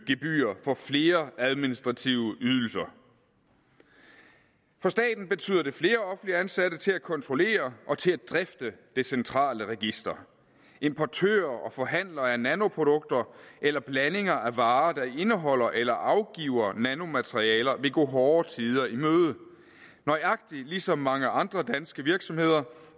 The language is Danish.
gebyrer for flere administrative ydelser for staten betyder det flere offentligt ansatte til at kontrollere og drifte det centrale register importører og forhandlere af nanoprodukter eller blandinger af varer der indeholder eller afgiver nanomaterialer vil gå hårde tider i møde nøjagtig ligesom mange andre danske virksomheder